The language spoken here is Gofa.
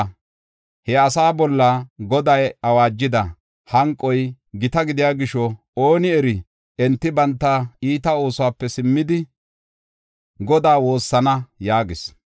Ha asaa bolla Goday awaajida hanqoy gita gidiya gisho, ooni eri, enti banta iita oosuwape simmidi, Godaa woossana” yaagis.